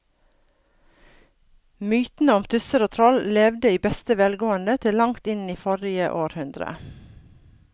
Mytene om tusser og troll levde i beste velgående til langt inn i forrige århundre.